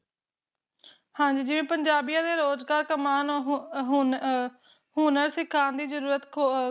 ਹਾਂਜੀ ਜਿਵੇ ਪੰਜਾਬੀਆਂ ਦੇ ਰੋਜ ਕਲਾ ਕਮਾਨ ਹੋਣ ਹੋਣ ਅ ਹੋਣਾ ਸੀ ਕਾਫੀ ਜਰੂਰਤ ਖੋ